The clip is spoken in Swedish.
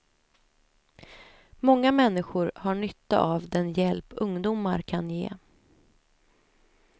Många människor har nytta av den hjälp ungdomar kan ge.